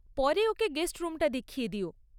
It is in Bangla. পরে ওকে গেস্ট রুমটা দেখিয়ে দিও।